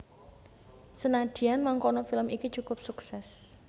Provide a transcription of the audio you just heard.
Senadyan mangkono film iki cukup suksès